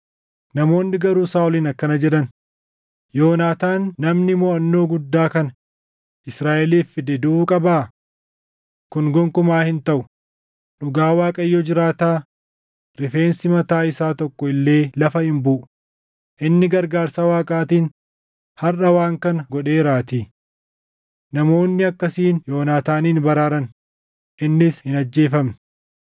Namoonni garuu Saaʼoliin akkana jedhan; “Yonaataan namni moʼannoo guddaa kana Israaʼeliif fide duʼuu qabaa? Kun gonkumaa hin taʼu! Dhugaa Waaqayyo jiraataa, rifeensi mataa isaa tokko illee lafa hin buʼu; inni gargaarsa Waaqaatiin harʼa waan kana godheeraatii.” Namoonni akkasiin Yoonaataanin baraaran; innis hin ajjeefamne.